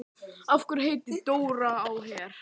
Andleg líðan hefur áhrif á líkamlega heilsu og öfugt.